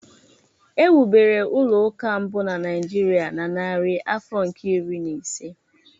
E wubere ụlọ ụka mbụ na Nigeria na narị afọ nke iri na ise.